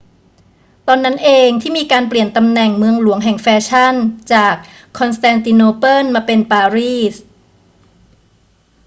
ตอนนั้นเองที่มีการเปลี่ยนตำแหน่งเมืองหลวงแห่งแฟชั่นจากคอนสแตนติโนเปิลมาเป็นปารีส